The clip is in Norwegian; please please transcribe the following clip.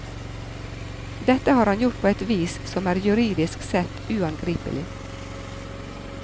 Dette har han gjort på et vis som er juridisk sett uangripelig.